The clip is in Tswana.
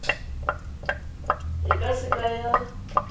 e ka se ka ya